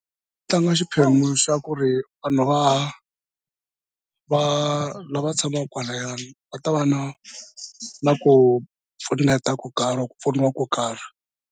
Ku tlanga xiphemu xa ku ri vanhu va va lava tshamaka kwalayani va ta va na na ku pfuneta ko karhi ku pfuniwa ko karhi.